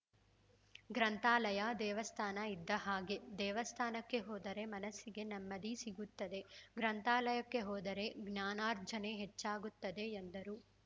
ಗ್ರಂಥಾಲಯ ದೇವಸ್ಥಾನ ಇದ್ದ ಹಾಗೆ ದೇವಸ್ಥಾನಕ್ಕೆ ಹೋದರೆ ಮನಸ್ಸಿಗೆ ನೆಮ್ಮದಿ ಸಿಗುತ್ತದೆ ಗ್ರಂಥಾಲಯಕ್ಕೆ ಹೋದರೆ ಜ್ಞಾನರ್ಜನೆ ಹೆಚ್ಚಾಗುತ್ತದೆ ಎಂದರು